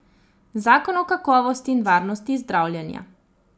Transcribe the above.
Zakon o kakovosti in varnosti zdravljenja.